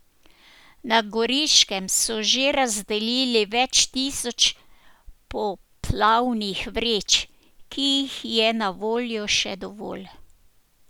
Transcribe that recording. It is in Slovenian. Na Goriškem so že razdelili več tisoč poplavnih vreč, ki jih je na voljo še dovolj.